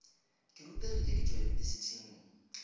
ke rutegile ke tšwa yunibesithing